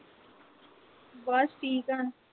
ਬਸ ਠੀਕ ਆ।